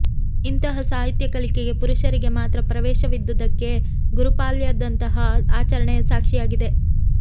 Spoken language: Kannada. ಇಂತಹ ಸಾಹಿತ್ಯ ಕಲಿಕೆಗೆ ಪುರುಷರಿಗೆ ಮಾತ್ರ ಪ್ರವೇಶವಿದ್ದುದಕ್ಕೆ ಗುರುಪ್ಯಾಲಾದಂತಹ ಆಚರಣೆ ಸಾಕ್ಷಿಯಾಗಿದೆ